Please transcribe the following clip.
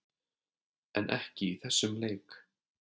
En ekki í þessum leik.